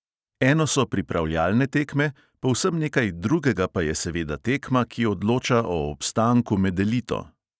Eno so pripravljalne tekme, povsem nekaj drugega pa je seveda tekma, ki odloča o obstanku med elito.